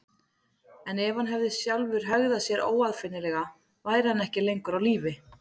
En ef hann sjálfur hefði hegðað sér óaðfinnanlega væri hann ekki lengur á lífi.